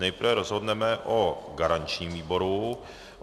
Nejprve rozhodneme o garančním výboru.